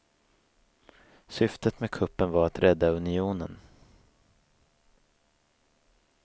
Syftet med kuppen var att rädda unionen.